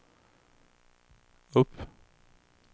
upp